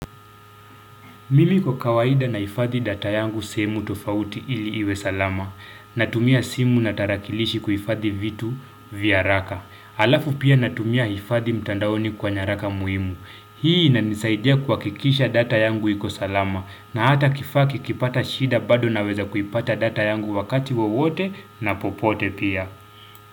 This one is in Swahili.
Mimi kwa kawaida na ifadhi data yangu semu tofauti ili iwe salama. Natumia simu na tarakilishi kuifadhi vitu vya raka. Alafu pia natumia ifadhi mtandaoni kwa nyaraka muhimu. Hii na nisaidia kwa hakikisha data yangu iko salama. Na hata kifaa kikiipata shida bado na weza kuipata data yangu wakati wawote na popote pia.